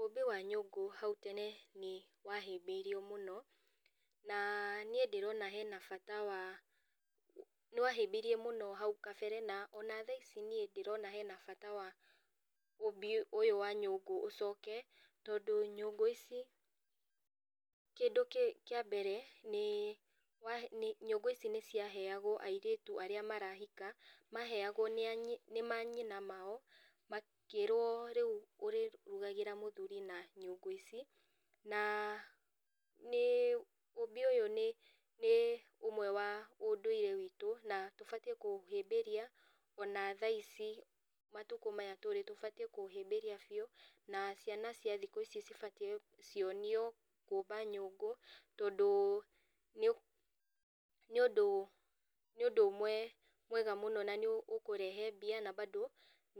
Ũũmbi wa nyũngũ hau tene nĩ wahĩmbĩirio mũno na niĩ ndĩrona hena bata wa, nĩwahĩmbĩirio mũno hau kabere na ona thaa ici niĩ ndĩrona hena bata wa ũũmbi ũyũ wa nyũngũ ũcoke, tondũ nyũngũ ici kĩndũ kĩa mbere nĩ nyũngũ ici nĩciaheagwo airĩtu arĩa marahika. Maheagwo nĩ manyina mao makĩrwo rĩu ũrĩrugagĩra mũthuri na nyũngũ ici. Na ũũmbi ũyũ nĩ ũmwe wa ũndũire witũ na tũbatiĩ kũũhĩmbĩria ona thaici matukũ maya tũrĩ, tũbatiĩ kũũhĩmbĩria biũ. Na ciana cia thikũ ici cibatiĩ cionio kũũmba nyũngũ tondũ nĩ ũndũ ũmwe mwega mũno na nĩ ũkũrehe mbia na mbando